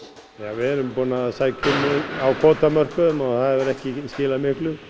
við erum búin að sækja um á kvótamörkuðum og það hefur ekki skilað miklu